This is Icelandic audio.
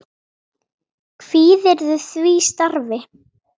Kvíðirðu því starfi?